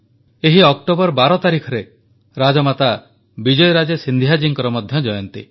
ଏହି 12 ଅକ୍ଟୋବରରେ ରାଜମାତା ବିଜୟରାଜେ ସିନ୍ଧିଆ ଜୀଙ୍କ ମଧ୍ୟ ଜୟନ୍ତୀ